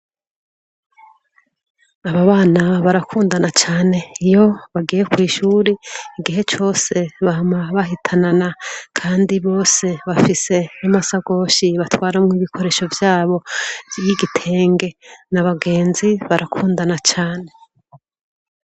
Abo bana barakundana cane. Iyo bagiye kw'ishure igihe cose bama bahitanana kandi bose bafise amasakoshi batwaramwo ibikoresho vyabo y'igitenge, ni abagenzi barakundana cane.